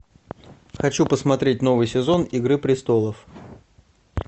хочу посмотреть новый сезон игры престолов